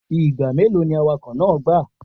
Igba melo ni awakọ naa gba?